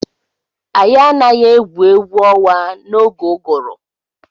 Anyị anaghị egwu egwu ọnwa n'oge ụgụrụ.